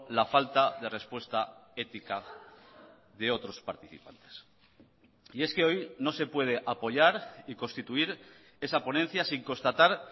la falta de respuesta ética de otros participantes y es que hoy no se puede apoyar y constituir esa ponencia sin constatar